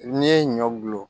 N'i ye ɲɔ gulon